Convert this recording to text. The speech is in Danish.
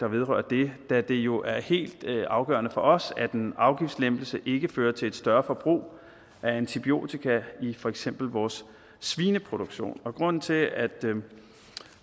vedrører det da det jo er helt afgørende for os at en afgiftslempelse ikke fører til et større forbrug af antibiotika i for eksempel vores svineproduktion grunden til at